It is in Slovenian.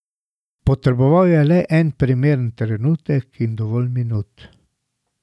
Potreboval je le primeren trenutek in dovolj minut.